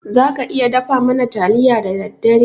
Za ka iya dafa mana taliya da daddare?